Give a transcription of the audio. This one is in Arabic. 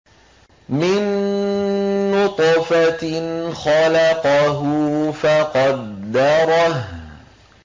مِن نُّطْفَةٍ خَلَقَهُ فَقَدَّرَهُ